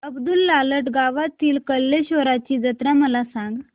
अब्दुललाट गावातील कलेश्वराची जत्रा मला सांग